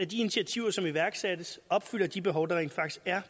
de initiativer som iværksættes opfylder de behov der rent faktisk er